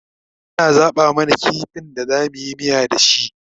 yana zaɓa mana kifin da zamuyi miya da shi